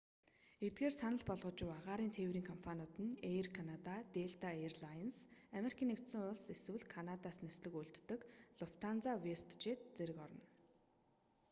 эдгээрийг санал болгож буй агаарын тээврийн компаниуд нь эйр канада делта эйр лайнс ану эсвэл канадаас нислэг үйлддэг луфтанза вэстжэт зэрэг орно